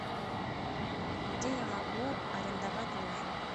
где я могу арендовать лыжи